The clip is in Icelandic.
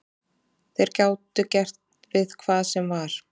Þeir gátu gert við hvað sem var.